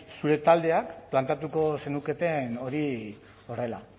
zure taldeak planteatuko zenuketen hori horrela